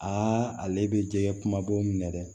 Aa ale bɛ jɛgɛ kumabaw minɛ dɛ